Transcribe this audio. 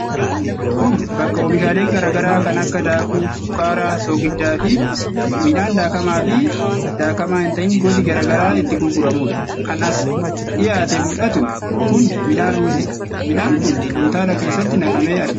Kun bakka oomishaalee garaa garaa kan akka daakuu, sukkaara, soogidda fi midhaan daakamaa fi daakamaa hin ta'in gosi garaa garaa itti gurguramudha. kan as dhiyaatee mul'atu kun midhaan ruuziidha. Midhaan kun kuntaala keessatti naqamee argama.